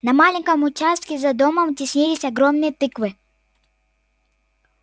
на маленьком участке за домом теснились огромные тыквы